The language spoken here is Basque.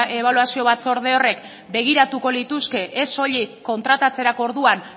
ebaluazio batzorde horrek begiratuko lituzke ez soilik kontratatzerako orduan